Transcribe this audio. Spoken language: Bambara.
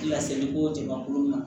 Laseli ko jamakulu ma